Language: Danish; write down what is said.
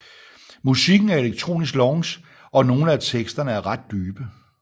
Musikken er elektronisk lounge og nogle af teksterne er ret dybe